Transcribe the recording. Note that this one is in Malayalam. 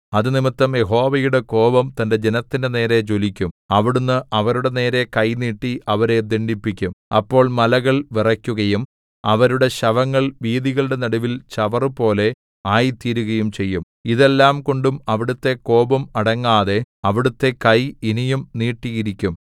അതുനിമിത്തം യഹോവയുടെ കോപം തന്റെ ജനത്തിന്റെ നേരെ ജ്വലിക്കും അവിടുന്ന് അവരുടെ നേരെ കൈ നീട്ടി അവരെ ദണ്ഡിപ്പിക്കും അപ്പോൾ മലകൾ വിറയ്ക്കുകയും അവരുടെ ശവങ്ങൾ വീഥികളുടെ നടുവിൽ ചവറുപോലെ ആയിത്തീരുകയും ചെയ്യും ഇതെല്ലാംകൊണ്ടും അവിടുത്തെ കോപം അടങ്ങാതെ അവിടുത്തെ കൈ ഇനിയും നീട്ടിയിരിക്കും